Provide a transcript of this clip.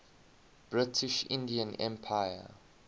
british indian empire